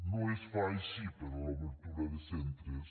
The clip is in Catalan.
no es fa així per a l’obertura de centres